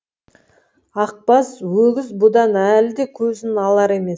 ақбас өгіз бұдан әлі де көзін алар емес